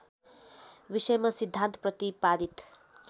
विषयमा सिद्धान्त प्रतिपादित